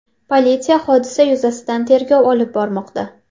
Politsiya hodisa yuzasidan tergov olib bormoqda.